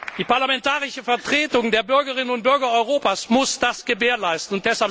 Die parlamentarische Vertretung der Bürgerinnen und Bürger Europas muss das gewährleisten.